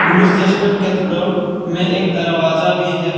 Gloucester cathedral में एक दरवाजा भी है।